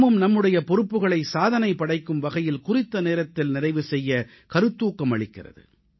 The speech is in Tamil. நாமும் நம்முடைய பொறுப்புகளை சாதனை படைக்கும் வகையில் குறித்த நேரத்தில் நிறைவு செய்ய கருத்தூக்கம் அளிக்கிறது